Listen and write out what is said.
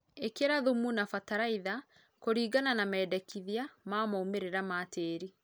ĩkĩra thũmũ na bataraĩtha kũrĩngana na mendekĩthĩa ma maũmĩrĩra ma tĩĩrĩ